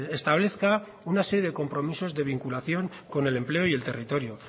establezca una serie de compromisos de vinculación con el empleo y el territorio